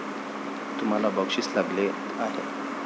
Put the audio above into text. तुम्हाला बक्षीस लागले आहे.